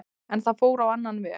En það fór á annan veg.